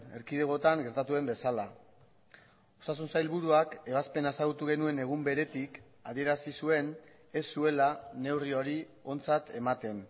erkidegotan gertatu den bezala osasun sailburuak ebazpena ezagutu genuen egun beretik adierazi zuen ez zuela neurri hori ontzat ematen